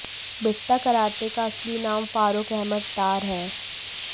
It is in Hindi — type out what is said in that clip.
बिट्टा कराटे का असली नाम फारुख अहमद डार है